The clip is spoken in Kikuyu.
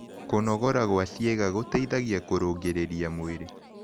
Kũnogora gwa cĩega gũteĩthagĩa kũrũngĩrĩrĩa mwĩrĩ